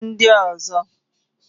Others